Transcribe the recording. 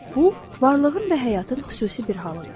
Bu, varlığın və həyatın xüsusi bir halıdır.